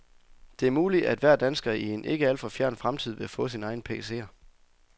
Det er muligt, at hver dansker i en ikke alt for fjern fremtid vil få sin egen pcer.